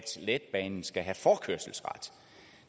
letbanen skal have forkørselsret